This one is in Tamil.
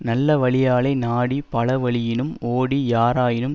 நல்ல வழியாலே நாடி பல வழியினும் ஓடி யாராயினும்